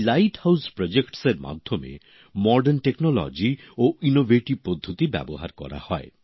এই lighthouse project এর মধ্যে আধুনিক প্রযুক্তি ও উদ্ভাবন পদ্ধতি ব্যবহার করা হয়